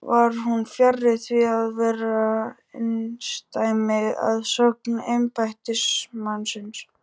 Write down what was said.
Var hún fjarri því að vera einsdæmi að sögn embættismannsins.